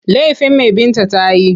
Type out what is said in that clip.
Laifin me Binta ta yi?